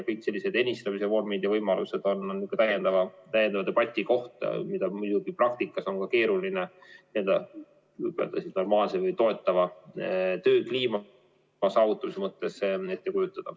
Kõik ennistamise vormid ja võimalused on täiendava debati koht, mida praktikas on keeruline normaalse toetava töökliima saavutamise mõttes ette kujutada.